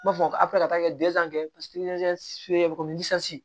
N b'a fɔ a bɛ ka taa kɛ bɛ komi